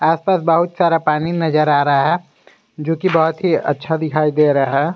आसपास बहुत सारा पानी नजर आ रहा है जोकि बहुत ही अच्छा दिखाई दे रहा है।